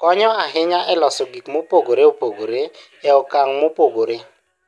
konyo ahinya e loso gik mopogore opogore e okang' mopogore.